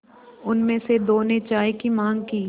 उनमें से दो ने चाय की माँग की